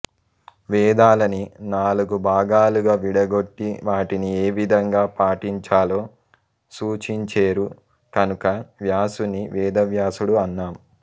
వేదాలని నాలుగు భాగాలుగా విడగొట్టి వాటిని ఏ విధంగా పఠించాలో సూచించేరు కనుక వ్యాసుని వేదవ్యాసుడు అన్నాం